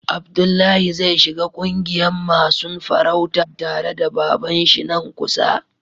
Abdullahi zai shiga ƙungiyan masun farauta tare da baban shi nan kusa.